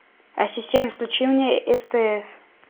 ассистент включи мне стс